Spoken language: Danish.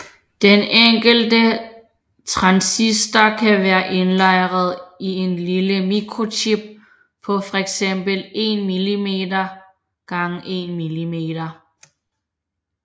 Den enkelte transistor kan være indlejret i en lille mikrochip på fx 1 mm x 1 mm